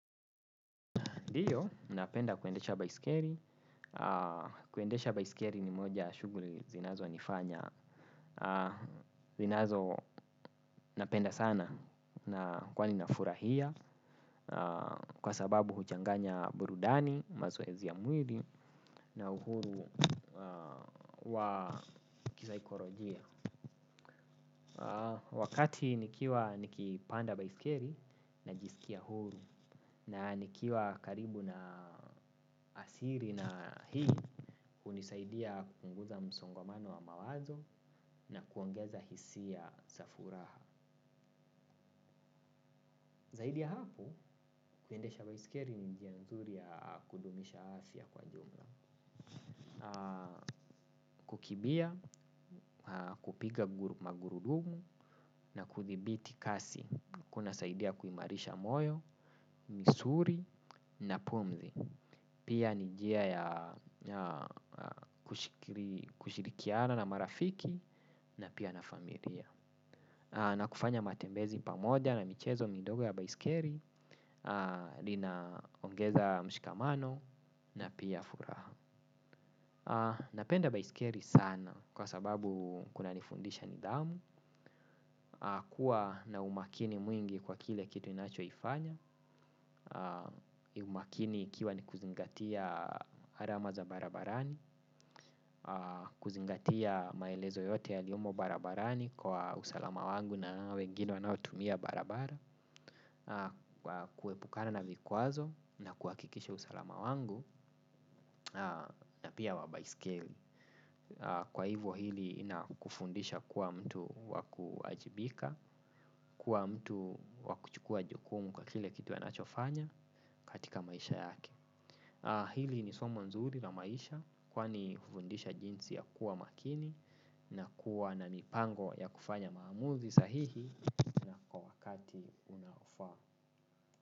Diyo, napenda kuendesha baisikeri. Kuendesha baisikeri ni moja shuguri zinazo nifanya. Zinazo napenda sana na kwani na furahia. Kwa sababu huchanganya burudani, mazoezi ya mwili na uhuru wa kisaikolojia. Wakati nikiwa nikipanda baisikeri najisikia huru. Na nikiwa karibu na asiri na hii, hunisaidia kupunguza msongamano wa mawazo na kuongeza hisia za furaha. Zaidi ya hapo, kuendesha baisikeri ni njia nzuri ya kudumisha afya kwa jumla. Kukibia, kupiga magurudumu na kuthibiti kasi. Kuna saidia kuimarisha moyo, misuri na pumzi. Pia ni jia ya kushirikiana na marafiki na pia na familia. Na kufanya matembezi pamoja na michezo midogo ya baisikeri lina ongeza mshikamano na pia furaha. Napenda baisikeri sana kwa sababu kunanifundisha nidhamu. Kua na umakini mwingi kwa kile kitu nacho ifanya. Umakini ikiwa ni kuzingatia arama za barabarani. Kuzingatia maelezo yote yaliyomo barabarani kwa usalama wangu na wengine wanao tumia barabara kuepukana na vikwazo na kuhakikisha usalama wangu na pia wa baiskeli. Kwa hivo hili inakufundisha kuwa mtu wakuajibika. Kuwa mtu wakuchukua jukumu kwa kile kitu anachofanya katika maisha yake. Hili ni somo nzuri na maisha kwani ufundisha jinsi ya kuwa makini na kuwa na mipango ya kufanya maamuzi sahihi kwa wakati unaofaa.